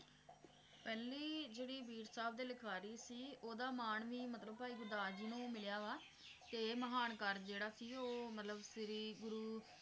ਪਹਿਲੀ ਜਿਹੜੀ ਬੀੜ ਸਾਹਿਬ ਦੇ ਲਿਖਾਰੀ ਸੀ ਓਹਦਾ ਮਾਨ ਵੀ ਮਤਲਬ ਭਾਈ ਗੁਰਦਾਸ ਜੀ ਨੂੰ ਮਿਲਿਆ ਵਾ ਤੇ ਮਹਾਨਕਾਰ ਜਿਹੜਾ ਸੀ ਉਹ ਮਤਲਬ ਸ਼੍ਰੀ ਗੁਰੂ